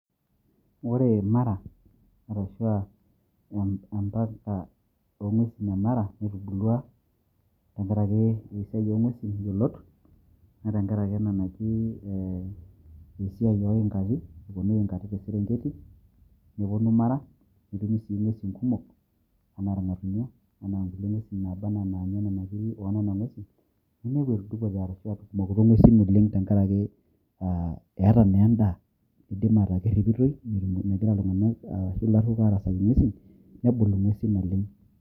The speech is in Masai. Ore mara arashwaa embata oongwesin e mara netubulwa tenkaraki esiaai oongwesin yiolot naa tenkaraki ena naji ee esiai oo ing`ati eponu ing`ati te serengeti neponu mara netumi sii inngwesin kumok anaa irngatunyo anaa nkulie ngwesin naba anaa inaanya inkiri enena ngwesin ninepu etudupote arashu etumokinote tenkaraki eeta naa endaa idim ataa keripitoi neaku megira iltunganak arashu ilaruok arasaki ingwesin nebul ingwesin naleng.